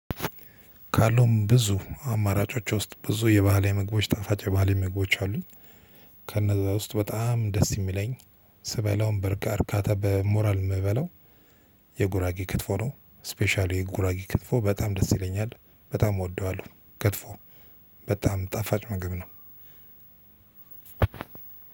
ካሉም ብዙ አማራጮች ውስጥ ብዙ የባህላዊ ምግቦቺ ጣፋጭ ባህላዊ ምግቦቺ አሉ። ከነዛ ውስጥ በጣም ደስ የሚለኝ ስበላውም በርካታ በሞራል የምበለው የጉራጌ ክትፎ ነው። ስፔሻሊ የጉራጊ ክትፎ በጣም ደስ ይለኛል በጣም እወደዋለሁ። ክትፎው በጣም ጣፋጭ ምግብ ነው።